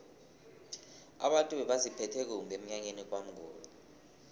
abantu bebaziphethe kumbi emnyanyeni kwamnguni